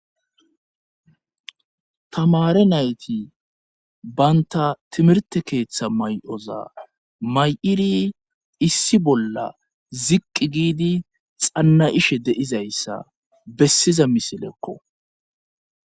tamare nayti baynta timirte keeththa may7oza may7iri issi bolla ziqqi giidi xanna ishe deizayssa bessiza misilekko